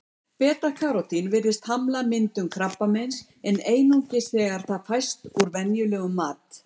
Beta-karótín virðist hamla myndun krabbameins, en einungis þegar það fæst úr venjulegum mat.